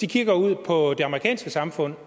kigge ud på det amerikanske samfund